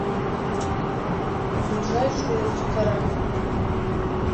ближайшие рестораны